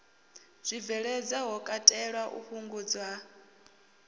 zwibveledzwa ho katelwa u fhungudziwa